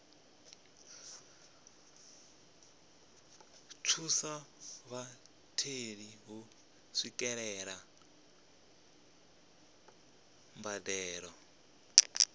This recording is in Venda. thusa vhatheli u swikelela mbadelo